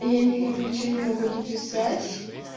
я никак ничего не могу дописать